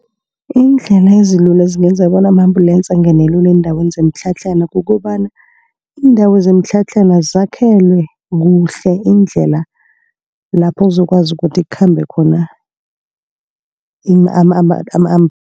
Iindlela ezilula ezingenza bona ama-ambulance angene lula eendaweni zemitlhatlhana. Kukobana iindawo zemitlhatlhana zakhelwe kuhle indlela lapho kuzokwazi ukuthi kukhambe khona